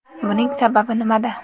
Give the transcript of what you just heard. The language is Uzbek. Buning sababi nimada?